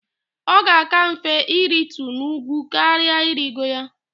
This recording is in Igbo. Ọ ga-aka mfe iritu n'úgwú karỊa irigo ya.